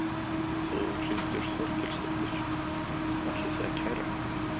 Þórhildur Þorkelsdóttir: Ætlið þið að kæra?